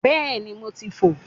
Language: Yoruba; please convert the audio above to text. Bẹ́ẹ̀ni mo ti fò ó